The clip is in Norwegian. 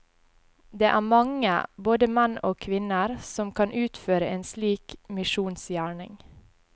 Det er mange, både menn og kvinner, som kan utføre en slik misjonsgjerning.